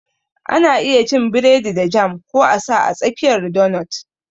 Ana iya cin biredi da jam ko a sa a tsakiyar donut